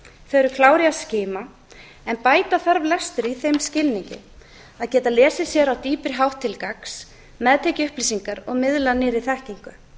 í að skima en bæta þar lestur í þeim skilningi að geta lesið sér á dýpri hátt til gagns meðtekið upplýsingar og miðlað nýrri þekkingu